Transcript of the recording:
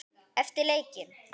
Eftir leikinn?